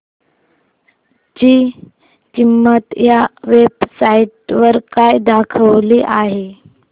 ची किंमत या वेब साइट वर काय दाखवली आहे